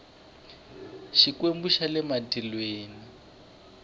xikwembu xa le matilweni